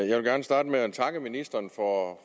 jeg vil gerne starte med at takke ministeren for